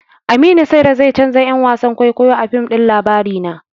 Aminu Saira zai canja 'yan wasan kwaikwayo a fim ɗin labarina.